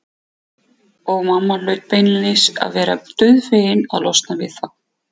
Og mamma hlaut beinlínis að vera dauðfegin að losna við þá.